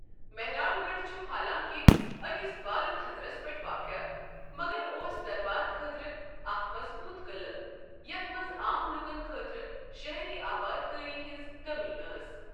مہران گڑھ چھُ حالانٛکِہ أکِس بالہٕ تَھزَرس پٮ۪ٹھ واقعہٕ مگر اوس دربار خٲطرٕ اکھ مضبوٗط قٕلہٕ یتھ منٛز عام لوکَن خٲطرٕ شہری آباد کٲری ہنٛز کمی ٲس۔